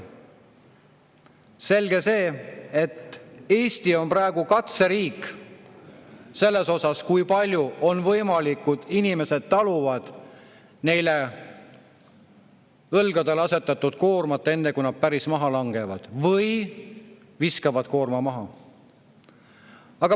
Selge see, et Eesti on praegu katseriik, kui palju inimesed taluvad nende õlgadele asetatud koormat, enne kui päris maha langevad või koorma maha viskavad.